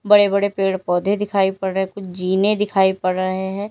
बड़े बड़े पेड़ पौधे दिखाई पड़ रहे कुछ जीने दिखाई पड़ रहे हैं।